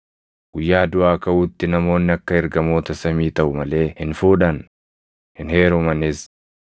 Guyyaa duʼaa kaʼuutti namoonni akka ergamoota samii taʼu malee hin fuudhan; hin heerumanis.